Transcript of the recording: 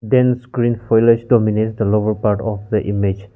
then screen dominates the lower part of the image.